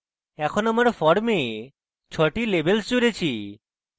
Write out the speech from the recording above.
এখন আমার form 6 টি labels জুড়েছি